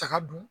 Taga dun